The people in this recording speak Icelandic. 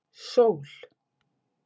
Sól